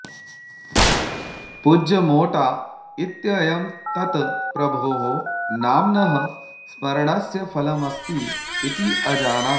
पूज्य मोटा इत्ययं तत् प्रभोः नाम्नः स्मरणस्य फलमस्ति इति अजानात्